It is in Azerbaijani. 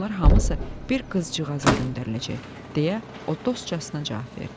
Bunlar hamısı bir qızcığaza göndəriləcək, - deyə o dostcasına cavab verdi.